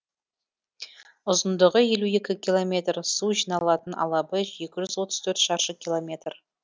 ұзындығы елу екі километр су жиналатын алабы екі жүз отыз төрт шаршы километр